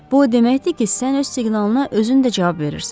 Bu o deməkdir ki, sən öz siqnalına özün də cavab verirsən.